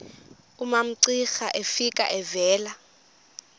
umamcira efika evela